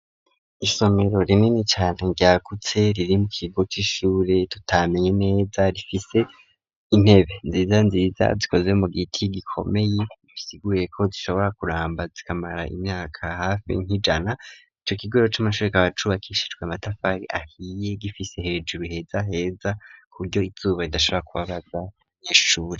Isomero rinini cane ryakutse ,riri mu kigo c'ishure tutamenye neza, rifise intebe nziza nziza bikoze mu giti ,gikomeye bisiguye ko zishobora kuramba zikamara imyaka hafi nk'ijana, ico kigoro c'amashure kabacubakishirwe amatafari ahiye, gifise hejuru heza heza kuburyo izuba ridashaka kubabaza iyishure.